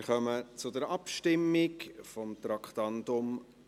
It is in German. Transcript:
Wir kommen zur Abstimmung von Traktandum 38.